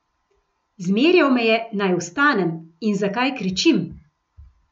Zmerjal me je, naj vstanem in zakaj kričim.